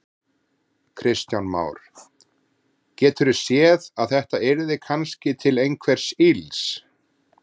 Kristján Már: Geturðu séð að þetta yrði kannski til einhvers ills?